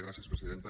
gràcies presidenta